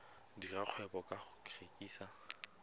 dira kgwebo ka go rekisa